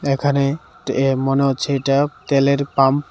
এখানে তে মনে হচ্ছে এইটা তেলের পাম্প .